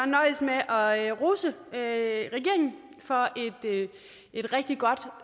nøjes med at at rose regeringen for et rigtig godt